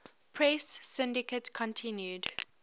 press syndicate continued